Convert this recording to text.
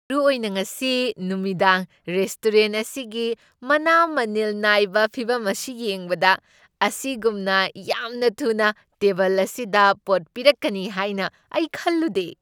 ꯃꯔꯨꯑꯣꯏꯅ ꯉꯁꯤ ꯅꯨꯃꯤꯗꯥꯡ ꯔꯦꯁꯇꯣꯔꯦꯟꯠ ꯑꯁꯤꯒꯤ ꯃꯅꯥ ꯃꯅꯤꯜ ꯅꯥꯏꯕ ꯐꯤꯚꯝ ꯑꯁꯤ ꯌꯦꯡꯕꯗ, ꯑꯁꯤꯒꯨꯝꯅ ꯌꯥꯝꯅ ꯊꯨꯅ ꯇꯦꯕꯜ ꯑꯁꯤꯗ ꯄꯣꯠ ꯄꯤꯔꯛꯀꯅꯤ ꯍꯥꯏꯅ ꯑꯩ ꯈꯜꯂꯨꯗꯦ꯫